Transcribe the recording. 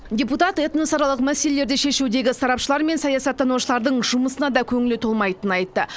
депутат этносаралық мәселелерді шешудегі сарапшылар мен саясаттанушылардың жұмысына да көңілі толмайтынын айтты